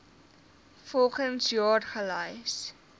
volgens jaar gelys